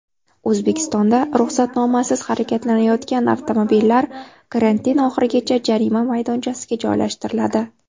O‘zbekistonda ruxsatnomasiz harakatlanayotgan avtomobillar karantin oxirigacha jarima maydonchasiga joylashtiriladi.